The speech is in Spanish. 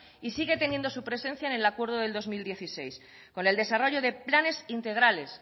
y sigue teniendo su presencia en el acuerdo del dos mil dieciséis con el desarrollo de planes integrales